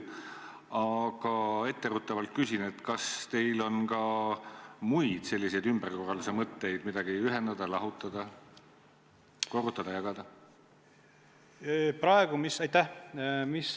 Aga etteruttavalt küsin, kas teil on ka muid ümberkorralduse mõtteid: midagi ühendada, lahutada, korrutada ja jagada?